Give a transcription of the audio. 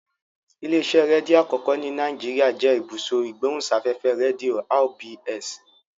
Ilé-iṣẹ́ rédíò àkọ́kọ́ ní Nàìjíríà jẹ́ Ibùsọ̀ Ìgbóhùsáfẹ́fẹ́ Rédíò (RBS).